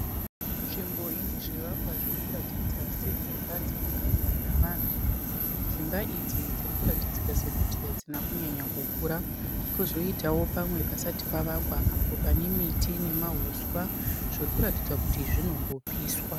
Nzvimbo inezvivakwa zvirikuratidza sedzimba dzinogarwa nevanhu. Dzimba idzi dzirikuratidzika sekuti hadzina kunyanya kukura. Kozoitawo pamwe pasati pavakwa apo panemiti nemahuswa zvirikuratidza kuti zvinombopiswa.